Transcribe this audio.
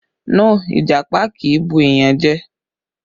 No, Ìjàpá kì í bu èèyàn jẹ